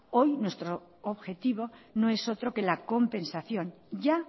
hoy nuestro objetivo no es otro que la compensación ya